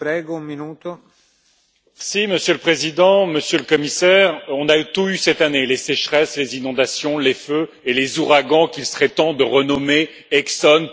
Monsieur le Président, Monsieur le Commissaire, on a tout eu cette année les sécheresses, les inondations, les feux et les ouragans qu'il serait temps de renommer Exxon, Total, BP ou Trump!